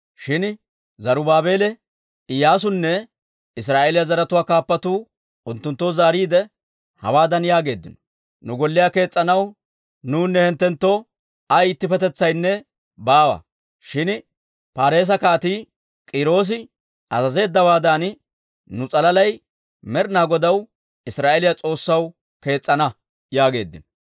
Shin Zarubaabeele, Iyyaasunne Israa'eeliyaa zaratuwaa kaappatuu unttunttoo zaariide, hawaadan yaageeddino; «Nu Golliyaa kees's'anaw nuwunne hinttenttoo ay ittippetetsinne baawa. Shin Paarise Kaatii K'iiroosi azazeeddawaadan, nu s'alaalay Med'ina Godaw Israa'eeliyaa S'oossaw kees's'ana» yaageeddino.